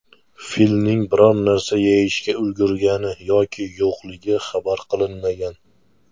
Filning biror narsa yeyishga ulgurgani yoki yo‘qligi xabar qilinmagan.